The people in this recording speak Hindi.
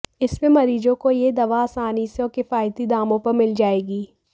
इससे मरीजों को यह दवा आसानी से और किफायती दामों पर मिल जाएगी